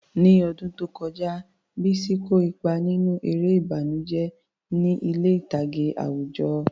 Ní ọdún tó kọjá, Bisi kó ipa nínú eré ìbànújẹ́ ní ilé ìtàgé àwùjọ.